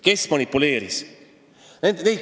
Kes manipuleeris?